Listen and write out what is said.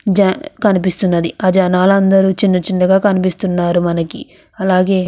జ కనిపిస్తున్నది అలాగే అ జనాలందరూ చిన్నచిన్నగా కనిపిస్తున్నారు మనకి అలాగే --